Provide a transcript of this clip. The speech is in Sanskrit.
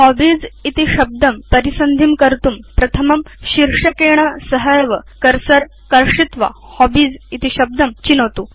हॉबीज इति शब्दं परिसन्धिं कर्तुं प्रथमं शीर्षकेण सहैव बाणं कर्षित्वा हॉबीज इति शब्दं चिनोतु